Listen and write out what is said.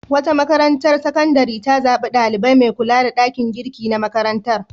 Wata makarantar sakandare ta zaɓi ɗalibai mai kula da ɗakin girki na makarantar.